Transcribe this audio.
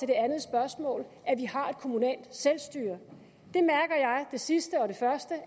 andet spørgsmål har et kommunalt selvstyre det sidste og det første